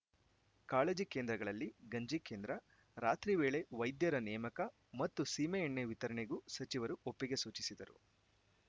ಕಾಳಜಿ ಕೇಂದ್ರಗಳಲ್ಲಿ ಗಂಜಿ ಕೇಂದ್ರ ರಾತ್ರಿ ವೇಳೆ ವೈದ್ಯರ ನೇಮಕ ಮತ್ತು ಸೀಮೆ ಎಣ್ಣೆ ವಿತರಣೆಗೂ ಸಚಿವರು ಒಪ್ಪಿಗೆ ಸೂಚಿಸಿದರು